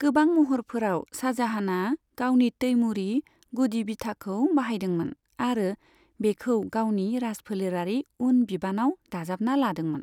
गोबां महरफोराव, शाहजाहानआ गावनि तैमूरी गुदि बिथाखौ बाहायदोंमोन आरो बेखौ गावनि राजफोलेरारि उन बिबानाव दाजाबना लादोंमोन।